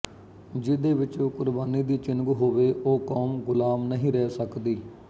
ਜੀਹਦੇ ਵਿੱਚ ਕੁਰਬਾਨੀ ਦੀ ਚਿਣਗ ਹੋਵੇ ਉਹ ਕੌਮ ਗੁਲਾਮ ਨਹੀਂ ਰਹਿ ਸਕਦੀ